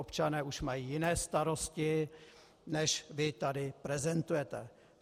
Občané už mají jiné starosti, než vy tady prezentujete.